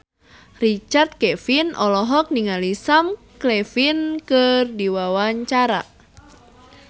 Richard Kevin olohok ningali Sam Claflin keur diwawancara